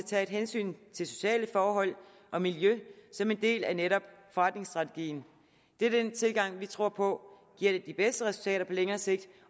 tage et hensyn til sociale forhold og miljø som en del af netop forretningsstrategien det er den tilgang vi tror på giver de bedste resultater på længere sigt